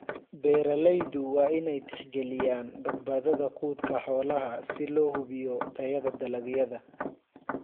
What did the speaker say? Beeralaydu waa inay tixgeliyaan badbaadada quudka xoolaha si loo hubiyo tayada dalagyada.